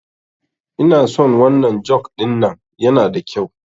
Inason wannan juk ɗin nan yana da kyau